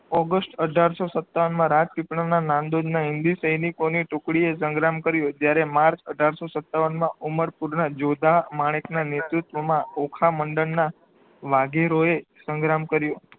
August અઢારસો સતાવનમાં રાજ પીપળાના નંદોઈના હિન્દી સૈનિકોને ટુકડીએ સંગ્રામ કર્યો જયારે માર્ચ અઠારશો સતાવનમાં ઉમર કુરના જોધા માણેકના નેતિક ઓખા મંડનમાં વાધીરોયે સંગ્રામ કર્યો